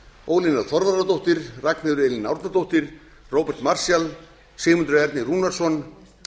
ólína þorvarðardóttir ragnheiður e árnadóttir róbert marshall sigmundur ernir rúnarsson